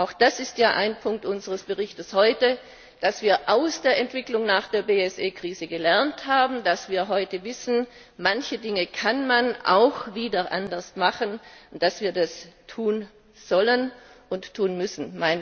Auch das ist ja ein Punkt unseres Berichts heute, dass wir aus der Entwicklung nach der BSE Krise gelernt haben, dass wir heute wissen, manche Dinge kann man auch wieder anders machen, und dass wir das tun sollten und tun müssen.